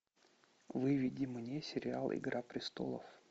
выведи мне сериал игра престолов